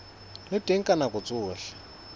le teng ka nako tsohle